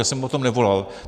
Já jsem po tom nevolal.